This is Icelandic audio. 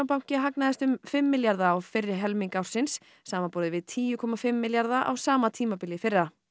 banki hagnaðist um fimm milljarða á fyrri helmingi ársins samanborið við tíu komma fimm milljarða á sama tímabili í fyrra